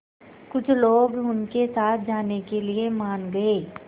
कुछ लोग उनके साथ जाने के लिए मान गए